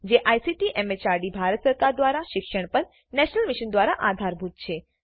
જે ICT MHRD Bharat સરકાર દ્વારા શિક્ષણ પર નેશનલ મિશન દ્વારા આધારભૂત છે